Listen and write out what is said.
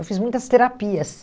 Eu fiz muitas terapias.